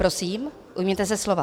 Prosím, ujměte se slova.